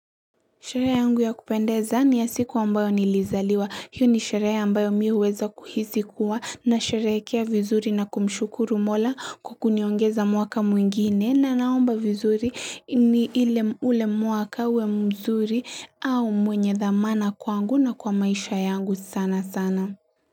Sherehe yangu ya kupendeza ni ya siku ambayo nilizaliwa. Hiyo ni sherehe ambayo mi huweza kuhisi kuwa na sherehekea vizuri na kumshukuru mola kwa kuniongeza mwaka mwingine na naomba vizuri ule mwaka uwe mzuri au wenye dhamana kwangu na kwa maisha yangu sana sana.